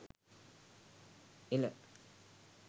ela